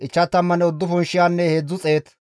Yisakoore zarkkefe 54,400,